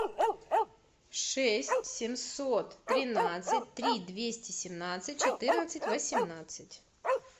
шесть семьсот тринадцать три двести семнадцать четырнадцать восемнадцать